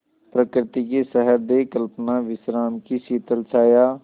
प्रकृति की सहृदय कल्पना विश्राम की शीतल छाया